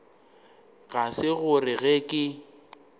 ga se gore ge ke